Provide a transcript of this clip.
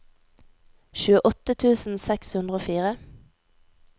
tjueåtte tusen seks hundre og fire